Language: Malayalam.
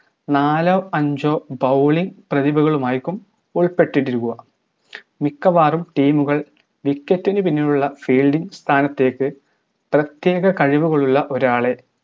നാലോ അഞ്ചോ bowling പ്രതിഭകളുമായിക്കും ഉൾപ്പെട്ടിട്ടിരിക്കുക മിക്കവാറും team കൾ wicket നു പിന്നിലുള്ള field സ്ഥാനത്തേക്ക് പ്രത്യേക കഴിവുകളുള്ള ഒരാളെ